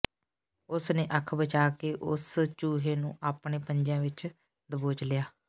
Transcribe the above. ਉਸ ਨੇ ਅੱਖ ਬਚਾ ਕੇ ਉਸ ਚੂਹੇ ਨੂੰ ਆਪਣੇ ਪੰਜਿਆਂ ਵਿੱਚ ਦਬੋਚ ਲਿਆ